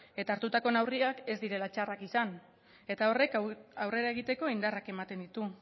eta hartutako neurriak ez direla txarrak izan horrek aurrera egiteko indarrak ematen ditu